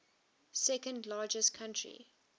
second largest country